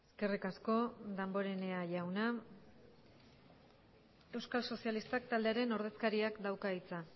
eskerrik asko damborenea jauna euskal sozialistak taldearen ordezkariak dauka hitza